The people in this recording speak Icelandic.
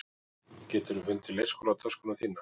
Geturðu fundið leikskólatöskuna þína?